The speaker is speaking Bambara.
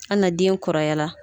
Ali na den kɔrɔya la!